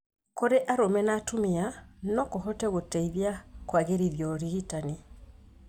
Kũrĩ arũme na atumia no kũhote gũteithia kũagĩrithia ũrigitani.